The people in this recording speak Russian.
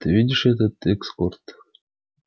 ты видишь этот экскорт